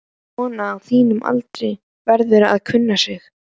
Kona á þínum aldri verður að kunna sig.